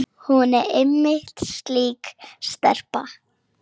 Hún er einmitt slík stelpa.